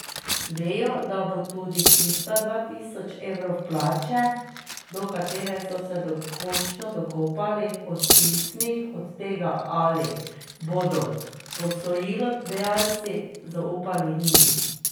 Vejo, da bo tudi tistih dva tisoč evrov plače, do katere so se končno dokopali, odvisnih od tega, ali bodo posojilodajalci zaupali njim?